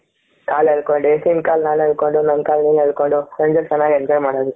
ಕಾಲ್ ಎಳ್ಕೊಂಡು ನಿನ್ನ ಕಾಲು ನಾನ್ ಹೇಳ್ಕೊಂಡು ನನ್ನ ಕಾಲು ನೀನು ಹೇಳ್ಕೊಂಡು ಹಂಗೆ ಚೆನ್ನಾಗಿ enjoy ಮಾಡ್ತಾ ಇದ್ವಿ.